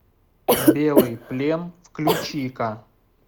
белый плен включи ка